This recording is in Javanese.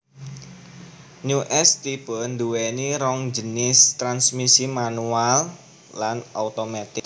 New S Type nduweni rong jinis transmisi manual lan automatic